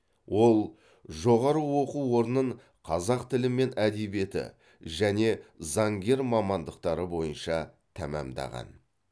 ол жоғары оқу орнын қазақ тілі мен әдебиеті және заңгер мамандықтары бойынша тәмамдаған